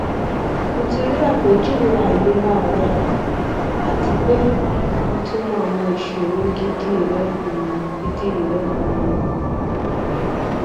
mo ti ri apejuwe ailera rẹ ati pe mo ti mọ awọn iṣoro gidi rẹ um gidi rẹ um